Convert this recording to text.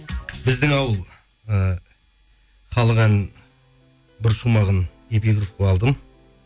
біздің ауыл і халық әнін бір шумағын эпигроф қылып алдым